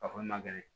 A fɔli man gɛlɛ